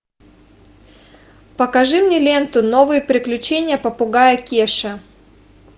покажи мне ленту новые приключения попугая кеши